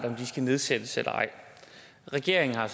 om de skal nedsættes eller ej regeringen har